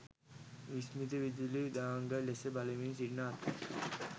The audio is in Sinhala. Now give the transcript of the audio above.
විස්මිත විදුලි දාංගලය දෙස බලමින් සිටින අතර